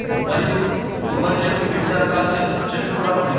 మరియు కొబ్బరి చెట్లు వివిధ రకాల చెట్-చెట్లు కూడా ఉన్నవి.